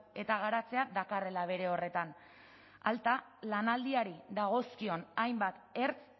eta garatzea dakarrela bere horretan alta lanaldiari dagozkion hainbat ertz